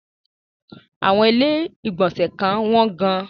Àwọn ilé-ìgbọ̀nsẹ̀ kan wọ́n gan-an.